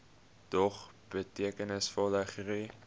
dog betekenisvolle groei